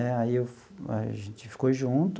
Né aí, a gente ficou junto.